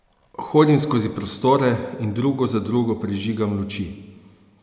Hodim skozi prostore in drugo za drugo prižigam luči.